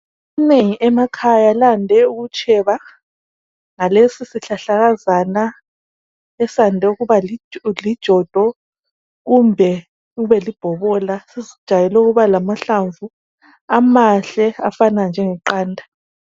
Inengi emakhaya lande ukutsheba ngalesi sihlahlakazana esande ukuba lijodo kumbe kubelibhobola. Sijayele ukuba lamahlamvu amahle afana njengeqanda.